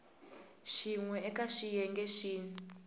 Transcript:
xin we eka xiyenge xin